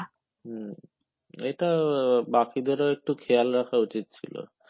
হম এটা বাকিদেরও একটু খেয়াল রাখা উচিত ছিল।